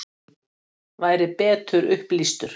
Væri betur upplýstur?